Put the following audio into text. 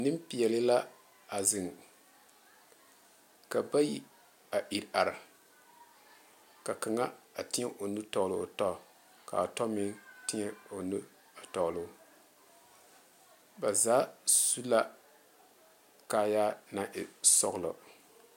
Nenpeɛle la a zeŋ ka bayi a iri are ka kaŋa a tiɛ o nu tɔgle o tɔ kaa tɔ meŋ tiɛ o nu a tɔgle o ba zaa su la kaayaa naŋ e sɔglɔ.